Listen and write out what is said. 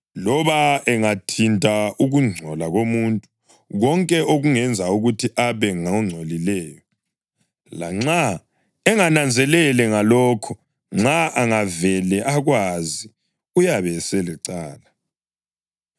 Loba engathinta ukungcola komuntu (konke okungenza ukuthi abe ngongcolileyo) lanxa engananzelele ngalokho nxa angavele akwazi uyabe eselecala,